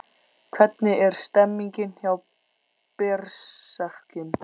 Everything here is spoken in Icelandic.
Hvernig er stemningin hjá Berserkjum?